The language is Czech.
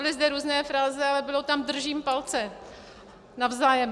Byly zde různé fráze, ale bylo tam držím palce navzájem.